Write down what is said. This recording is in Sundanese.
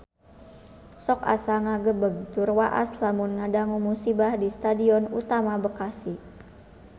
Sok asa ngagebeg tur waas lamun ngadangu musibah di Stadion Utama Bekasi